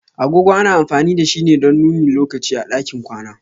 Agogo ana amfani da shi ne don nuni lokaci a ɗakin kwana.